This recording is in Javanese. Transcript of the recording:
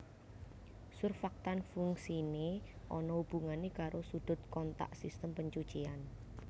Surfaktan fungsiné ana hubungané karo sudut kontak sistem pencucian